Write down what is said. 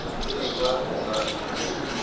dusver al reg